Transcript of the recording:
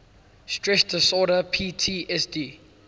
stress disorder ptsd